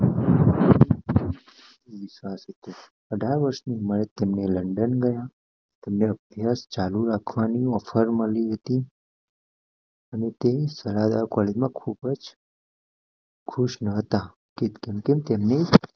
અઢાર ઉંમરની વરસ માં તેમને લન્ડન ગયા તેમને અભ્યાસ ચાલુ રાખવાની ઓફર મળી હતી અને તે કોલેજ માં ખુબજ ખુશ ન હતા તે જેમ તેમ